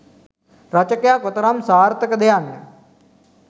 රචකයා කොතරම් සාර්ථක ද යන්න